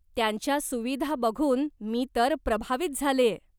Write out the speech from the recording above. त्यांच्या सुविधा बघून मी तर प्रभावीत झालेय.